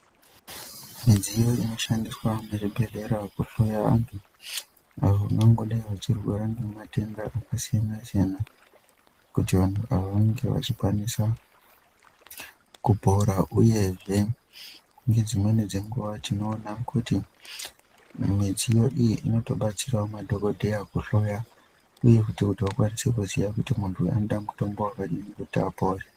Midziyo inoshandiswa muzvibhedhlera kuhloya vantu avo vangangodai vachirwara ngematenda akasiyana-siyana. Kuti vantu ava vange vachikwanisa kupora, uyezve nedzimweni dzenguva tinoona kuti mudziyo iyi inotobatsiravo madhogodheya kuhloya, uye futi kuti akwanise kuziya kuti muntu uyu anoda mutombo vakadini kuti apore.